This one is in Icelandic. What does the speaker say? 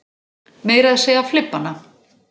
Meira að segja flibbana.